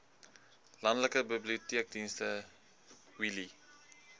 landelike biblioteekdienste wheelie